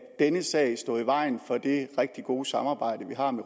denne sag stå vejen for det rigtig gode samarbejde vi har om